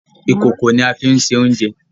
Ìkòkò ní a fín sè oúnjẹ